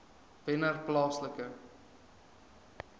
wennerplaaslike